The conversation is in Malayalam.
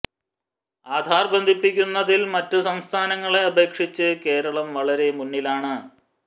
ആധാർ ബന്ധിപ്പിക്കുന്നതിൽ മറ്റു സംസ്ഥാനങ്ങളെ അപേക്ഷിച്ച് കേരളം വളരെ മുന്നിലാണ്